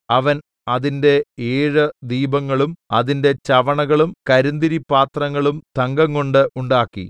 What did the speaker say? അവൻ അതിന്റെ ഏഴ് ദീപങ്ങളും അതിന്റെ ചവണകളും കരിന്തിരിപ്പാത്രങ്ങളും തങ്കംകൊണ്ട് ഉണ്ടാക്കി